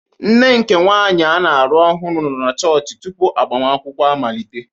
Nne nke nwanyị a na-alụ ọhụrụ nọ na chọọchị tupu agbamakwụkwọ amalite.